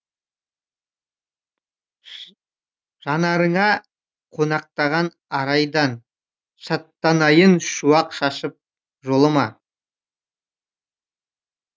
жанарыңа қонақтаған арайдан шаттанайын шуақ шашып жолыма